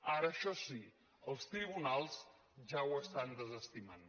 ara això sí els tribunals ja ho estan desestimant